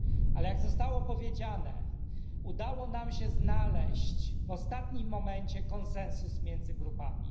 Ale jak zostało powiedziane, udało nam się znaleźć w ostatnim momencie konsensus między grupami.